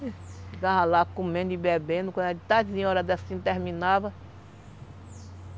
Ficava lá comendo e bebendo, quando era de tardinha, hora dessas não terminava.